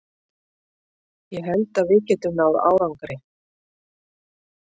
Ég held að við getum náð árangri.